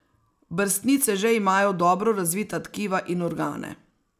Brstnice že imajo dobro razvita tkiva in organe.